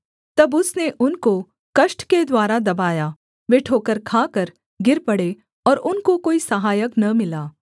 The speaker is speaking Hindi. तब उसने उनको कष्ट के द्वारा दबाया वे ठोकर खाकर गिर पड़े और उनको कोई सहायक न मिला